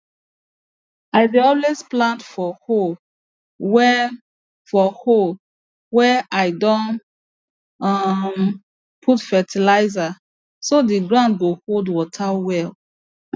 i dey always plant for holes wey for holes wey i don um put fertilizer so the ground go hold water well